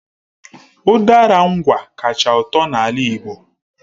Udara Ngwá kacha ụtọ na ala Igbo